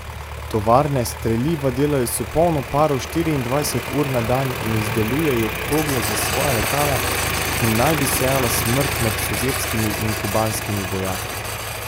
Tovarne streliva delajo s polno paro štiriindvajset ur na dan in izdelujejo krogle za svoja letala, ki naj bi sejala smrt med sovjetskimi in kubanskimi vojaki.